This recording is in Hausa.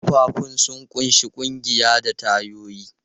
Ƙafafun sun ƙunshi ƙugiya da tayoyi.